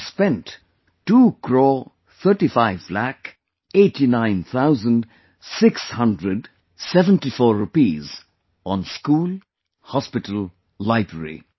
And he spent two crore thirty five lakh eighty nine thousand six hundred seventy four rupees on School, Hospital, Library